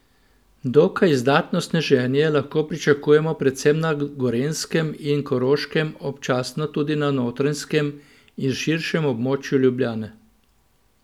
Dokaj izdatno sneženje lahko pričakujemo predvsem na Gorenjskem in Koroškem, občasno tudi na Notranjskem in širšemu območju Ljubljane.